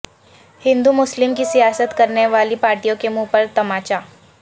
ہندو مسلم کی سیاست کرنے والی پارٹیوں کے منہ پر طمانچہ